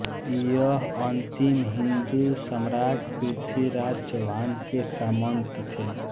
यह अंतिम हिन्दू सम्राट पृथ्वीराज चौहान के सामन्त थे